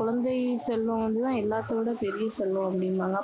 குழந்தை செல்வம் வந்து தான் எல்லாத்தையும் விட பெரிய செல்வம்.